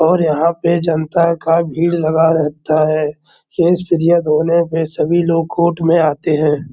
और यहाँ पे जनता का भीड़ लगा रहता है। होने पे सभी लोग कोर्ट में आते हैं।